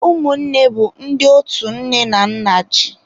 Ụmụnne bụ ndị otu nne na nna ji.